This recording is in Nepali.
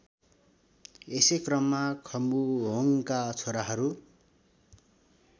यसैक्रममा खम्बुहोङका छोराहरू